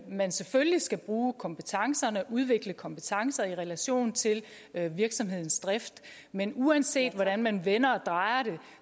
man selvfølgelig skal bruge kompetencerne udvikle kompetencer i relation til virksomhedsdrift men uanset hvordan man vender og drejer